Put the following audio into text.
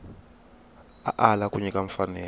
a ala ku nyika mfanelo